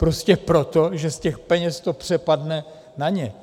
Prostě proto, že z těch peněz to přepadne na ně.